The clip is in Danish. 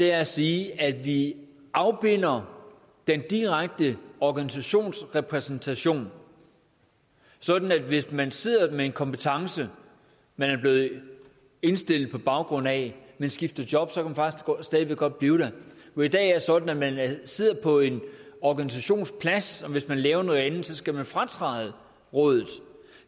at sige at vi afbinder den direkte organisationsrepræsentation sådan at hvis man sidder med en kompetence man er blevet indstillet på baggrund af men skifter job så kan man faktisk godt stadig væk godt blive der for i dag er det sådan at man sidder på en organisationsplads og hvis man laver noget andet skal man fratræde rådet